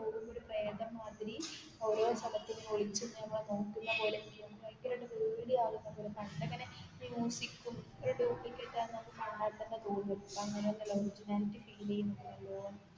ഇവിടെ പ്രേതം മാതിരി ഒരോ സ്ഥലത്തും ഒളിച്ചു നമ്മളെ നോക്കുന്ന പോലെ ഭയങ്കര ആയിട്ട് പേടി ആകുന്ന പോലെ പണ്ട് ഇങ്ങനെ ഡ്യൂപ്ലിക്കേറ്റ് ആന്ന് നമുക്ക് കണ്ടാൽ തോന്നും ഇപ്പോ അങ്ങനെ ഒന്നും അല്ല ഒറിജിനാലിറ്റി ഫീൽ ചെയ്യും.